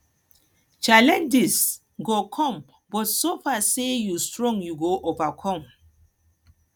challenges go come but so far say you strong you go overcome